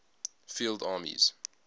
field armies